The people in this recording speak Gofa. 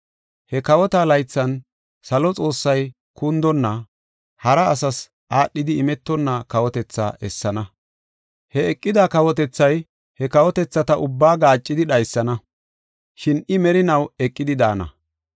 “He kawota laythan, salo Xoossay kundonna, hara asas aadhidi imetonna kawotethaa essana. He eqida kawotethay, he kawotethata ubbaa gaaccidi dhaysana; shin I merinaw eqidi daana.